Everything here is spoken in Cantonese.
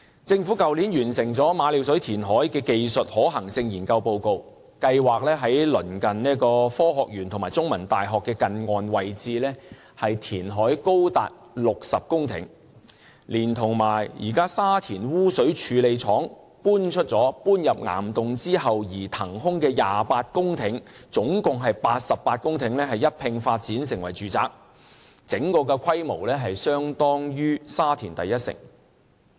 政府去年完成馬料水填海的技術可行性研究報告，計劃在鄰近科學園和香港中文大學的近岸位置填海高達60公頃，連同現時沙田污水處理廠遷入岩洞後騰出的28公頃，合共88公頃土地一併發展成為住宅，整個規模相當於沙田第一城。